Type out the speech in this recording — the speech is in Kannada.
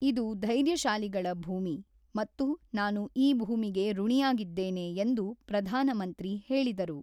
ಇದು ಧೈರ್ಯಶಾಲಿಗಳ ಭೂಮಿ ಮತ್ತು ನಾನು ಈ ಭೂಮಿಗೆ ಋುಣಿಯಾಗಿದ್ದೇನೆ ಎಂದು ಪ್ರಧಾನಮಂತ್ರಿ ಹೇಳಿದರು.